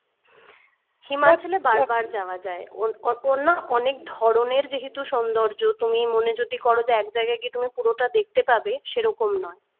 himachal এ বারবার যাওয়া যাই অ~ অন্য অনেক ধরনের যেহেতু সৌন্দর্য তুমি মনে যদি করো যে এক জায়গায় দিয়ে তুমি পুরোটা দেখতে পাবে সেরকম নয়